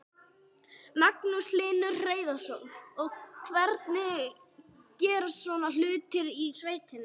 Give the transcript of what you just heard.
Magnús Hlynur Hreiðarsson: Og hvernig gerast svona hlutir í sveitinni?